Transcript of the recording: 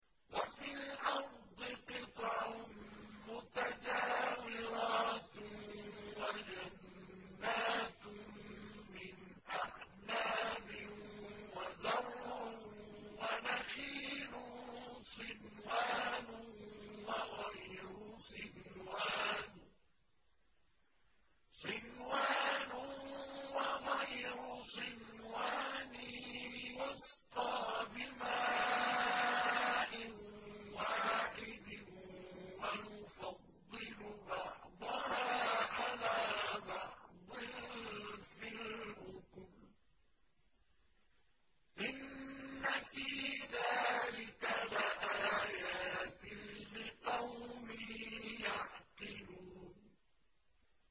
وَفِي الْأَرْضِ قِطَعٌ مُّتَجَاوِرَاتٌ وَجَنَّاتٌ مِّنْ أَعْنَابٍ وَزَرْعٌ وَنَخِيلٌ صِنْوَانٌ وَغَيْرُ صِنْوَانٍ يُسْقَىٰ بِمَاءٍ وَاحِدٍ وَنُفَضِّلُ بَعْضَهَا عَلَىٰ بَعْضٍ فِي الْأُكُلِ ۚ إِنَّ فِي ذَٰلِكَ لَآيَاتٍ لِّقَوْمٍ يَعْقِلُونَ